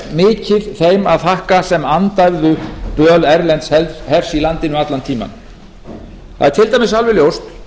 mikið þeim að þakka sem andæfðu dvöl erlends hers í landinu allan tímann það er til dæmis alveg ljóst